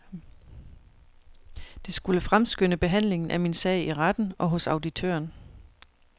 Det skulle fremskynde behandlingen af min sag i retten og hos auditøren.